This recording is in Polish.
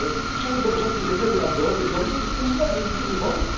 przeszedł do porządku dziennego nad wyrokiem sądu i uznał wyniki wyborów.